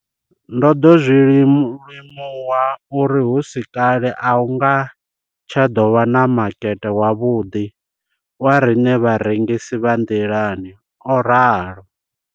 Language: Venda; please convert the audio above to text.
Ndo ḓo zwi limuwa uri hu si kale a hu nga tsha ḓo vha na makete wavhuḓi wa riṋe vharengisi vha nḓilani, o ralo.